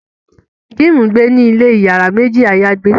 Jim ngbẹ ní ilè iyàrá méjì ayagbe